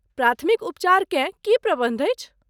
प्राथमिक उपचारकेँ की प्रबन्ध अछि?